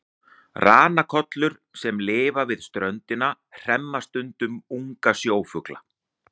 Ranakollur sem lifa við ströndina hremma stundum unga sjófugla.